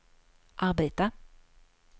arbeta